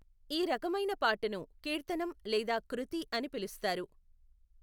ఈ రకమైన పాటను కీర్తనం లేదా కృతి అని పిలుస్తారు.